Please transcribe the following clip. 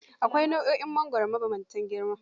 Akwai nau'o'in mangoro mabambanta girma.